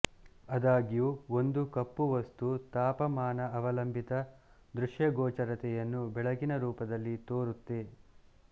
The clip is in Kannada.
ಆದಾಗ್ಯೂ ಒಂದು ಕಪ್ಪು ವಸ್ತು ತಾಪಮಾನಅವಲಂಬಿತ ದೃಶ್ಯಗೋಚರತೆಯನ್ನು ಬೆಳಕಿನ ರೂಪದಲ್ಲಿ ತೋರುತ್ತೆ